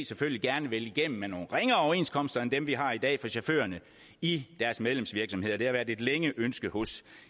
selvfølgelig gerne vil igennem med nogle ringere overenskomster end dem vi har i dag for chaufførerne i deres medlemsvirksomheder det har været et længe ønske hos